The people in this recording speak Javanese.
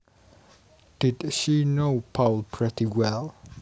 Did she know Paul pretty well